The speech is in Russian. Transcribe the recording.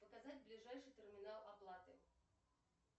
показать ближайший терминал оплаты